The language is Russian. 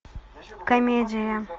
комедия